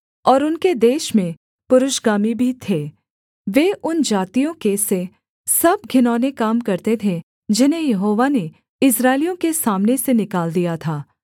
और उनके देश में पुरुषगामी भी थे वे उन जातियों के से सब घिनौने काम करते थे जिन्हें यहोवा ने इस्राएलियों के सामने से निकाल दिया था